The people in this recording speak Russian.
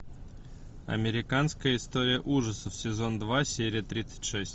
американская история ужасов сезон два серия тридцать шесть